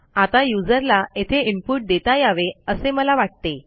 आता युजरला येथे इनपुट देता यावे असे मला वाटते